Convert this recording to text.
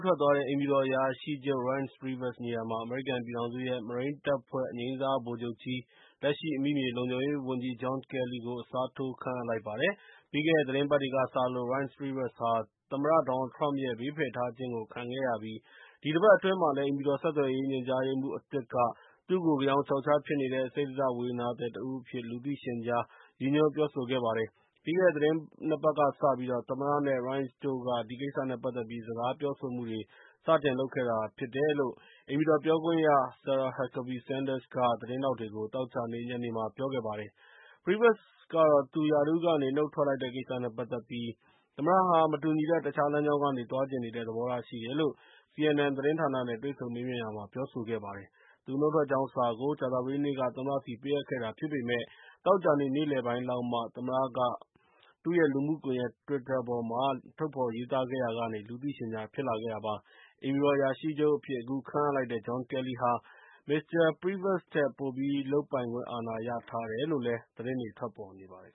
ထွက်သွားတဲ့ အိမ်ဖြူတော်အရာရှိချုပ် Reince Priebus နေရာမှာ အမေရိကန်ပြည်ထောင်စုရဲ့ မရိန်းတပ်ဖွဲ့ အငြိမ်းစားဗိုလ်ချုပ်ကြီး လက်ရှိ အမိမြေလုံခြုံရေးဝန်ကြီး John Kelly ကို အစားထိုး ခန့်အပ်လိုက်ပါတယ်။ ပြီးခဲ့တဲ့သီတင်းပတ်တွေကစလို့ Reince Priebus ဟာ သမ္မတ Donald Trump ရဲ့ ဘေးဖယ်ထားခြင်းကို ခံခဲ့ရပြီး ဒီတပတ်အတွင်းမှာလည်း အိမ်ဖြူတော်ဆက်သွယ်ရေးညွှန်ကြားရေးမှူး အသစ်က သူ့ကို ဂယောင်ခြောက်ခြားဖြစ်နေတဲ့၊ စိတ္တဇဝေဒနာသည်တဦးအဖြစ် လူသိရှင်ကြား ရည်ညွှန်းပြောဆိုခဲ့ပါတယ်။ ပြီးခဲ့တဲ့ သီတင်းနှစ်ပတ်ကစပြီးတော့ သမ္မတနဲ့ Reince တို့က ဒီကစ္စနဲ့ပတ်သက်ပြီး စကားပြောဆိုမှုတွေ စတင်ခဲ့တာဖြစ်တယ်လို့ အိမ်ဖြူတော် ပြောခွင့်ရ Sarah Huckabee Sanders က သတင်းထောက်တွေကို သောကြာနေ့ ညနေမှာ ပြောဆိုခဲ့ပါတယ်။ Priebus ကတော့ သူရာထူးကနေ နုတ်ထွက်လိုက်တဲ့ကိစ္စနဲ့ပတ်သက်ပြီး၊ သမ္မတဟာ မတူညီတဲ့ တခြားလမ်းကြောင်းကနေ သွားချင်နေတဲ့ သဘောထားရှိတယ်လို့CNN သတင်းဌာနနဲ့တွေ့ဆုံမေးမြန်းရာမှာ ပြောဆိုခဲ့ပါတယ်။ သူနုတ်ထွက်ကြောင်းစာကို ကြာဿပတေးနေ့က သမ္မတဆီကိုပေးအပ်ခဲ့တာဖြစ်ပေမယ့် သောကြာနေ့ နေ့လယ်ပိုင်းလောက်ကမှ သမ္မတ Trump က သူ့ရဲ့ လူမှုကွန်ယက် Twitter ပေါ်မှာ ထုတ်ဖော်ရေးသားခဲ့ရာက လူသိရှင်ကြား ဖြစ်လာခဲ့တာပါ။ အိမ်ဖြူတော်အရာရှိချုပ်အဖြစ် အခုခန့်အပ်လိုက်တဲ့ John Kelly ဟာ မစ္စတာ Reince Priebus ထက် ပိုပြီး လုပ်ပိုင်ခွင့်အာဏာရထားတယ်လို့လည်း သတင်းတွေထွက်ပေါ်နေပါတယ်